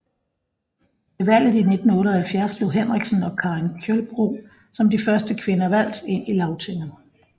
Ved valget i 1978 blev Henriksen og Karin Kjølbro som de første kvinder valgt ind i Lagtinget